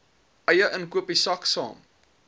eie inkopiesak saam